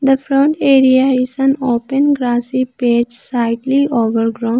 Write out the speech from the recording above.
The front area is an open grassy slightly overgrown.